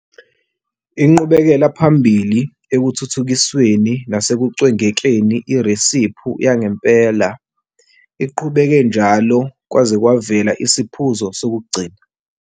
Inqubekela phambili ekuthuthukisweni nasekucwengekeni iresiphi yangempela iqhubeke njalo kwaze kwavela isiphuzo sokugcina.